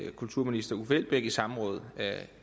kulturminister uffe elbæk i samråd